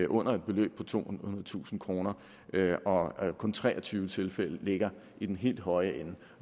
under et beløb på tohundredetusind kr kr og kun tre og tyve tilfælde ligger i den helt høje ende